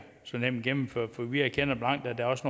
så nemt at gennemføre vi erkender blankt at der også